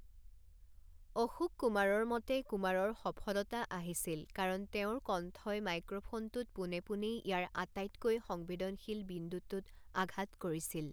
অশোক কুমাৰৰ মতে, কুমাৰৰ সফলতা আহিছিল কাৰণ তেওঁৰ কণ্ঠই মাইক্ৰ'ফোনটোত পোনে পোনেই ইয়াৰ আটাইতকৈ সংবেদনশীল বিন্দুটোত আঘাত কৰিছিল।